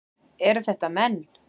Eru þetta menn?